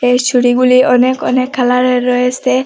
এই চুড়িগুলি অনেক অনেক কালারের রয়েসে।